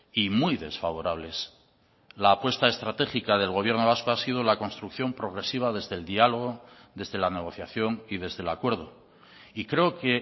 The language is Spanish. y muy desfavorables la apuesta estratégica del gobierno vasco ha sido la construcción progresiva desde el diálogo desde la negociación y desde el acuerdo y creo que